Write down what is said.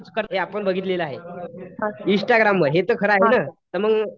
Use हे आपण बघितलेलं आहे. इंस्टाग्राम वर तर मग हे तर खरं आहे ना?